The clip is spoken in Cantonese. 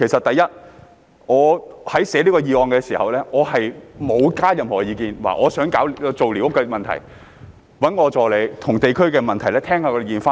第一，我草擬此項議案的時候，並沒有加上任何意見，表示我想解決寮屋的問題，我只讓助理就地區問題收集意見。